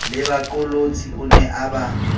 lebaqolotsi o ne a ba